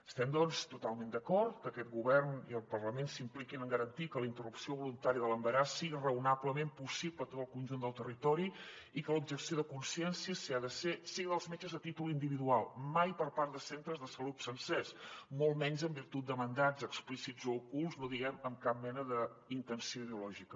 estem doncs totalment d’acord que aquest govern i el parlament s’impliquin en garantir que la interrupció voluntària de l’embaràs sigui raonablement possible a tot el con·junt del territori i que l’objecció de consciència si hi ha de ser sigui dels metges a tí·tol individual mai per part de centres de salut sencers molt menys en virtut de man·dats explícits o ocults no diguem amb cap mena de intenció ideològica